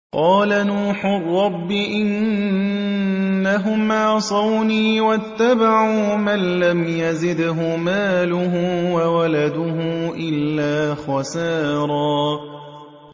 قَالَ نُوحٌ رَّبِّ إِنَّهُمْ عَصَوْنِي وَاتَّبَعُوا مَن لَّمْ يَزِدْهُ مَالُهُ وَوَلَدُهُ إِلَّا خَسَارًا